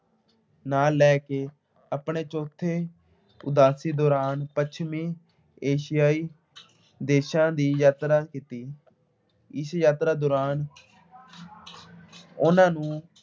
ਨਾਲ ਲੈ ਕੇ ਆਪਣੇ ਚੌਥੇ ਉਦਾਸੀ ਦੌਰਾਨ ਪੱਛਮੀ ਏਸ਼ੀਆਈ ਦੇਸ਼ਾਂ ਦੀ ਯਾਤਰਾ ਕੀਤੀ। ਇਸ ਯਾਤਰਾ ਦੌਰਾਨ ਉਹਨਾ ਨੂੰ